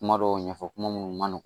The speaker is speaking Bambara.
Kuma dɔw ɲɛfɔ kuma munnu ma nɔgɔn